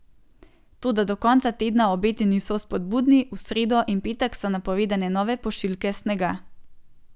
Toda do konca tedna obeti niso vzpodbudni, v sredo in petek so napovedane nove pošiljke snega.